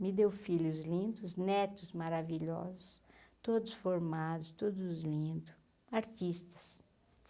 Me deu filhos lindos, netos maravilhosos, todos formados, todos lindo, artistas.